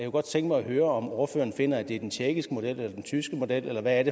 godt tænke mig at høre om ordføreren finder at det er den tjekkiske model eller den tyske model eller hvad